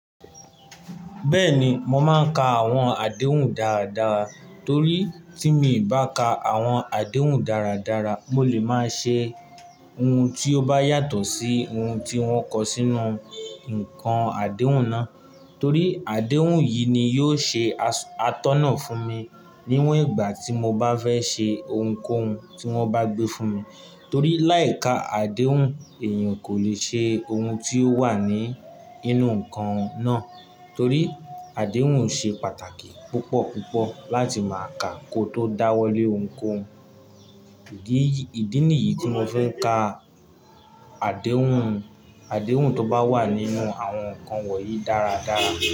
Bẹ́ẹ̀ni, mo máa ń ka àwọn àdéhùn dáradára torí tí mi bá ka àwọn àdéhùn dáradára, mo lè máa ṣe ohun tí ó bá yàtọ̀ sí ohun tí wọ́n kọ sínú nǹkan àdéhùn náà. Torí àdéhùn yìí ni yóò ṣe atọ́nà fún mi níwọ̀n ìgbà tí mo bá fẹ́ ṣe ohunkóhun tí wọ́n bá gbé fún mi. Torí láì ka àdéhùn èèyàn kò lè ṣe ohun tí ó wà ní inú nǹkan náà. Torí àdéhùn ṣe pàtàkì púpọ̀púpọ̀ láti máa ka kó tó dá wọ́lé ohunkóhun. Ìdí nìyí tí mo fi ń ka àdéhùn, àdéhùn tó bá wà nínú àwọn nǹkan wọ̀nyí dáradára.